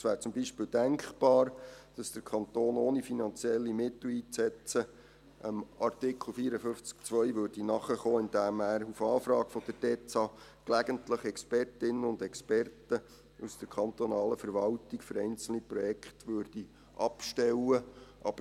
Es wäre zum Beispiel denkbar, dass der Kanton, ohne finanzielle Mittel einzusetzen, Artikel 54 Absatz 2 nachkommen würde, indem er auf Anfrage der DEZA gelegentlich Expertinnen und Experten aus der kantonalen Verwaltung für einzelne Projekte abstellen würde.